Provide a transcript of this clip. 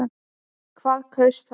Hvað kaus það?